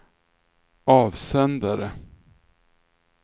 avsändare